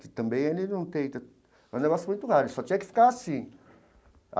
Que também ele não tenta... Mas é um negócio muito rápido, ele só tinha que ficar assim.